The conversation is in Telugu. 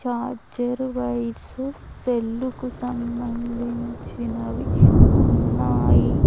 ఛార్జరు వైర్సు సెల్లుకు సంబంధించినవి ఉన్నాయి.